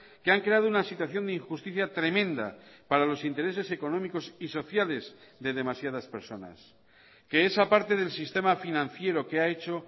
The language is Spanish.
que han creado una situación de injusticia tremenda para los intereses económicos y sociales de demasiadas personas que esa parte del sistema financiero que ha hecho